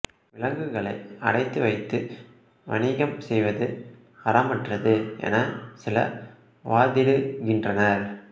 விலங்குகளை அடைத்து வைத்து வணிகம் செய்வது அறமற்றது என சில வாதிடுகின்றனர்